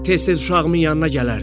Tez-tez uşağımın yanına gələrdi.